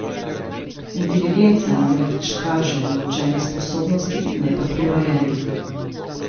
Inteligenca namreč kaže naučene sposobnosti, ne pa prirojenih.